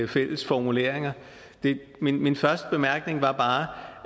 fælles formuleringer min første bemærkning var bare